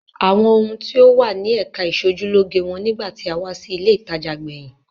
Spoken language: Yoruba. Àwọn ohun tí ó wà ní ẹ̀ka ìṣojúlóge wọ́n nígbà tí a wá sí ilé-ìtajà gbẹ̀yìn.